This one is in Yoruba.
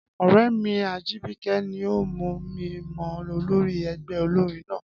Ọ̀rẹ́ mi Ajìbìkẹ́ ni o mú mi mọ olórí ẹgbẹ́ olórin náà